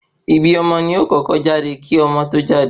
Ibi ọmọ ni o kọ́kọ́ jáde kí ọmọ tó jáde